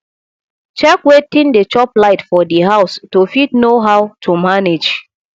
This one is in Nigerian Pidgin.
check wetin dey chop light for di house to fit know how to manage